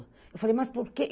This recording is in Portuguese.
Eu falei, mas por que?